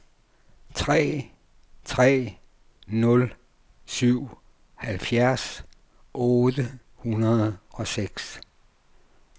tre tre nul syv halvfjerds otte hundrede og seks